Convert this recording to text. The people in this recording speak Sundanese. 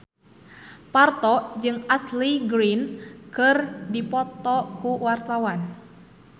Parto jeung Ashley Greene keur dipoto ku wartawan